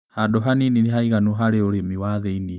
Handũ hanini nĩhaiganu harĩ ũrĩmi wa thĩini.